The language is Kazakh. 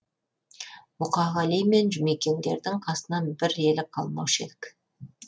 мұқағали мен жұмекендердің қасынан бір елі қалмаушы едік